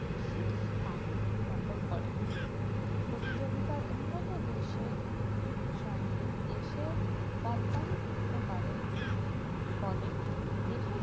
শীষ থান দখল করে প্রতিযোগিতার উন্নতিদেশে সঙ্গে দেশের company টিকতে পারে না ফলে দেশের